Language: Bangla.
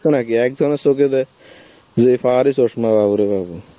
নাকি একজনের চোখে দেয় যেই power এর চশমা বাবারে বাবা.